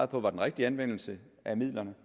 på var den rigtige anvendelse af midlerne